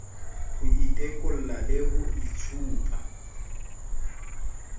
ho itekola le ho itshupa